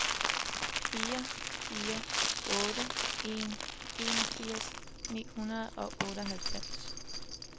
fire fire otte en enogfirs ni hundrede og otteoghalvfems